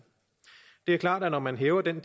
det er klart at når man hæver den